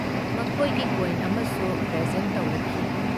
ꯃꯈꯣꯏꯒꯤ ꯀꯣꯏꯟ ꯑꯃꯁꯨ ꯄ꯭ꯔꯦꯖꯦꯟꯠ ꯇꯧꯔꯛꯈꯤ ꯫